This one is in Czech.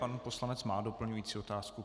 Pan poslanec má doplňující otázku.